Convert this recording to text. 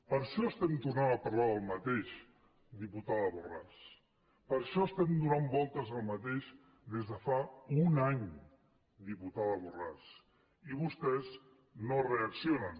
per això estem tornant a parlar del mateix diputa·da borràs per això estem donant voltes al mateix des de fa un any diputada borràs i vostès no reaccionen